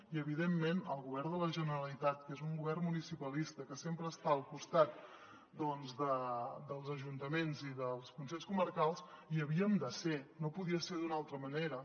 i evidentment el govern de la generalitat que és un govern municipalista que sempre està al costat dels ajuntaments i dels consells comarcals hi havíem de ser no podia ser d’una altra manera